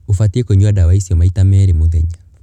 Ubatiĩ kũnyua ndawa icio maita merĩ mũthenya.